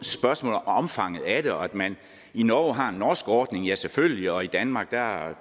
spørgsmål om omfanget af det og at man i norge har en norsk ordning ja selvfølgelig og at vi i danmark